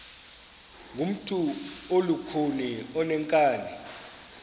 ngumntu olukhuni oneenkani